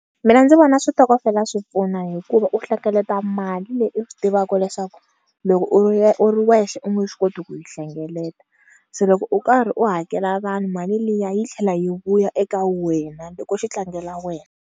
Mina ndzi vona switokofela swi pfuna hikuva u hlengeleta mali leyi u swi tivaka leswaku loko u ri u ri wexe u nge swi koti ku yi hlengeleta se loko u karhi u hakela vanhu mali liya yi tlhela yi vuya eka wena loko xi tlangela wena.